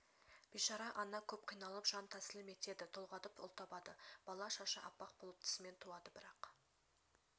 бейшара ана көп қиналып жантәсілім етеді толғатып ұл табады бала шашы аппақ болып тісімен туады бірақ